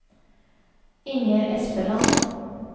Inger Espeland